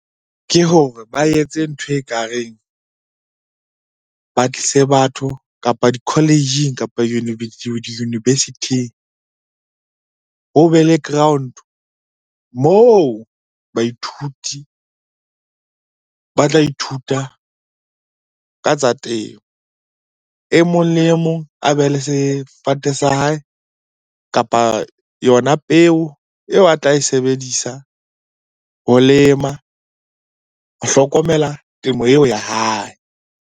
Ke hore ba etse ntho e kareng, ba tlise batho, kapa di-college kapa di-niversity-ing. Ho be le ground moo baithuti ba tla ithuta ka tsa temo. E mong le e mong a be le sefate sa hae, kapa yona peo eo a tla e sebedisa ho lema ho hlokomela temo eo ya hae.